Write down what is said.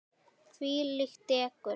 Þvílíkt dekur.